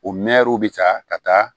O mɛɛriw bi taa ka taa